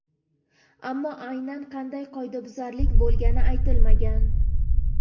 Ammo aynan qanday qoidabuzarlik bo‘lgani aytilmagan.